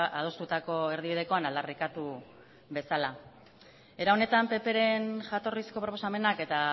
adostutako erdibidekoan aldarrikatu bezala era honetan ppren jatorrizko proposamenak eta